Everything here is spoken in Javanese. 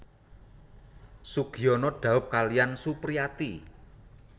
Sugiyono dhaup kaliyan Supriyati